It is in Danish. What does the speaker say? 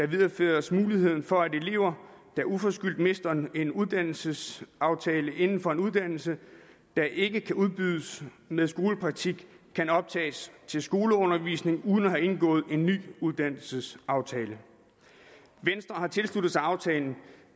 videreføres muligheden for at elever der uforskyldt mister en uddannelsesaftale inden for en uddannelse der ikke kan udbydes med skolepraktik kan optages til skoleundervisning uden at have indgået en ny uddannelsesaftale venstre har tilsluttet sig aftalen